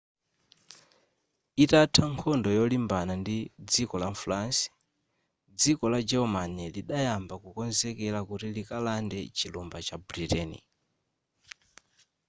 itatha nkhondo yolimbana ndi dziko la france dziko la german lidayamba kukonzekera kuti likalande chilumba cha britain